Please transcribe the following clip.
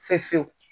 Fe fewu